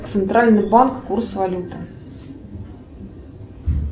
центральный банк курс валюты